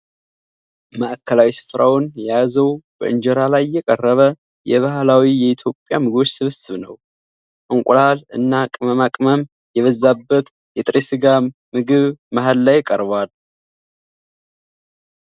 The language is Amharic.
ማዕከላዊ ስፍራውን የያዘው በእንጀራ ላይ የቀረበ የባህላዊ የኢትዮጵያ ምግቦች ስብስብ ነው። እንቁላል እና ቅመማ ቅመም የበዛበት የጥሬ ሥጋ ምግብ መሃል ላይ ቀርቧል።